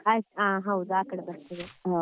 ಆಯ್ತ ಹೌದು ಆ ಕಡೆ ಬರ್ತದೆ.